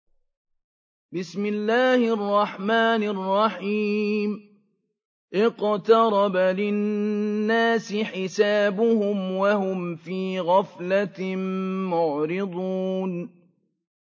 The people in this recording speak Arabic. اقْتَرَبَ لِلنَّاسِ حِسَابُهُمْ وَهُمْ فِي غَفْلَةٍ مُّعْرِضُونَ